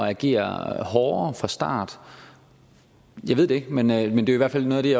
at agere hårdere fra start jeg ved det ikke men det er i hvert fald noget af det